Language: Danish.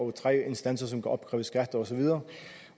er tre instanser som kan opkræve skat og så videre